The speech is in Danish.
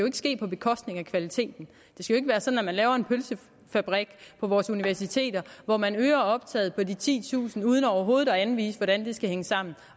ikke ske på bekostning af kvaliteten det skal ikke være sådan at man laver en pølsefabrik på vores universiteter hvor man øger optaget med titusind uden overhovedet at anvise hvordan det skal hænge sammen